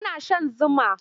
Ana shan zuma.